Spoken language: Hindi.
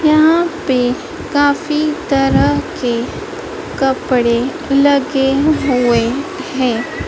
यहाँ पे काफी तरह के कपड़े लगे हुए हैं।